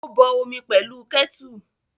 Ó bọ omi pẹ̀lú kẹ́tù.